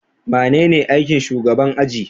Manene aikin shugaban aji?